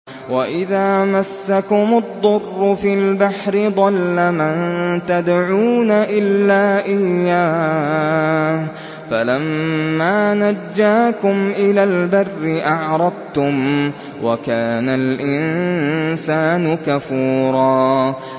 وَإِذَا مَسَّكُمُ الضُّرُّ فِي الْبَحْرِ ضَلَّ مَن تَدْعُونَ إِلَّا إِيَّاهُ ۖ فَلَمَّا نَجَّاكُمْ إِلَى الْبَرِّ أَعْرَضْتُمْ ۚ وَكَانَ الْإِنسَانُ كَفُورًا